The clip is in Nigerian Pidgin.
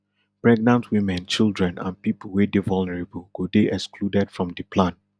pregnant women children and pipo wey dey vulnerable go dey excluded from di plan